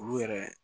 Olu yɛrɛ